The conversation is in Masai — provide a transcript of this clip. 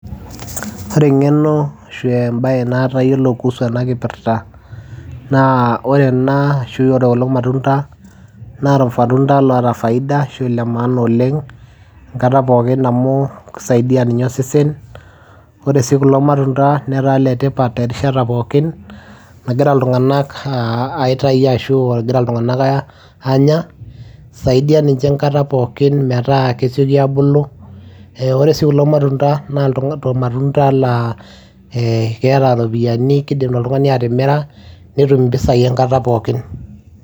Ore engeno naata tialo enakipirta naa ore ena naa irmatunda oota faida enkata pookin nagira iltunganak aitayu anya , isaidia ninye enkata pookin naa keeta ropiyiani netum impisai enkata pookin.